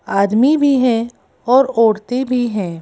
आदमी भी हैं और औरतें भी हैं।